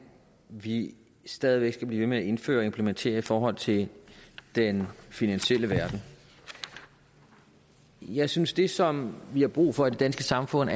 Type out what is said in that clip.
vi stadig væk skal blive ved med at indføre og implementere i forhold til den finansielle verden jeg synes at det som vi har brug for i det danske samfund